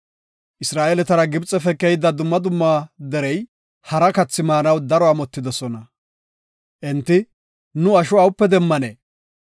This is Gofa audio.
Isra7eeletara Gibxefe keyida dumma dumma derey hara kathi maanaw daro amotidosona. Enti, “Nu asho awupe demmanee?